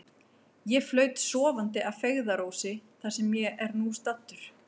Ég flaut sofandi að feigðarósi, þar sem ég er nú staddur.